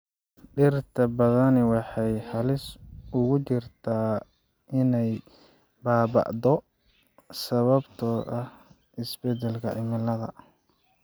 Dhirta badani waxay halis ugu jirtaa inay baaba�do sababtoo ah isbeddelka cimilada.